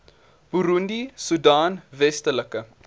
burundi soedan westelike